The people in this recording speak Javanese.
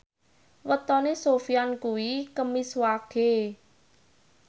wetone Sofyan kuwi Kemis Wage